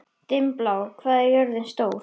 Dimmblá, hvað er jörðin stór?